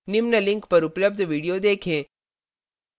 निम्न link पर उपलब्ध video देखें